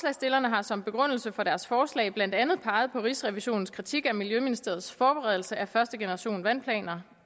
har som begrundelse for deres forslag blandt andet peget på rigsrevisionens kritik af miljøministeriets forberedelse af første generation af vandplaner